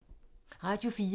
Radio 4